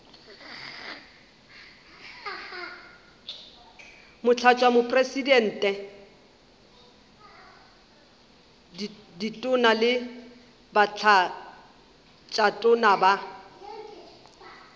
motlatšamopresidente ditona le batlatšatona ba